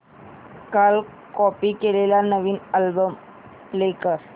काल कॉपी केलेला नवीन अल्बम प्ले कर